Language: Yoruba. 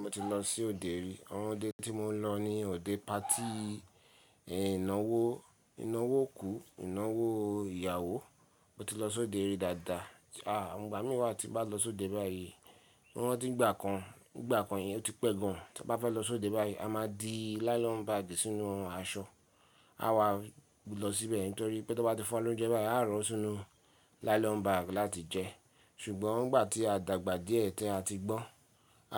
Mo ti lọ sí òde rí, àwon òde tí mo lọ ni òde patí ìnáwó, ìnáwó òkú, ìnáwó ìyàwó. Mo ti lọ sóde rí dáadáa, à ǹgbà mí wá ti bá lọ sóde báyìí, mo rántí ń gbà kan, ìgbà kan yẹn ó ti pẹ́ gan, tí a bá fẹ́ lọ sóde báyìí, a máa di nylon bag sínú aṣọ. A wà lọ síbẹ̀ nítorí pé tí wọ́n bá ti fún wa lóúnjẹ báyìí, a ó rọ́ sínú nylon bag láti jẹ. Ṣùgbọ́n ǹgbà tí a dàgbà díẹ̀ tí a ti gbọ́n,